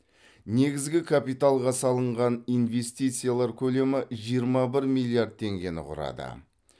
негізгі капиталға салынған инвестициялар көлемі жиырма бір миллиард теңгені құрады